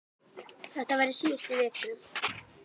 Þetta var í síðustu viku.